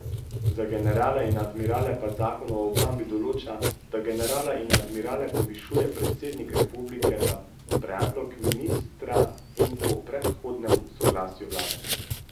Za generale in admirale pa zakon o obrambi določa, da generale in admirale povišuje predsednik republike na predlog ministra in po predhodnem soglasju vlade.